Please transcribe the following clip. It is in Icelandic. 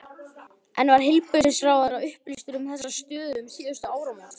En var heilbrigðisráðherra upplýstur um þessa stöðu um síðustu áramót?